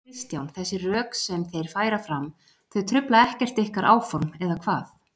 Kristján: Þessi rök sem þeir færa fram, þau trufla ekkert ykkar áform, eða hvað?